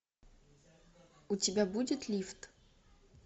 у тебя будет лифт